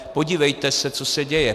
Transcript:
Podívejte se, co se děje.